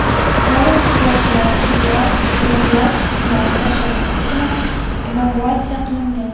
Forum ishtirokchilari Federal qo‘riqlash xizmati tashabbusi bilan evakuatsiya qilingan.